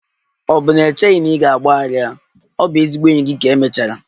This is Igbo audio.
Ọ̀ bụ na i cheghị na ị ga-agbaghara ya? Ọ bụ ezigbo enyi gị ka emechara.